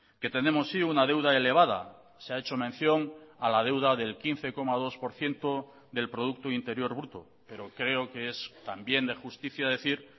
que tenemos sí una deuda elevada se ha hecho mención a la deuda del quince coma dos por ciento del producto interior bruto pero creo que es también de justicia decir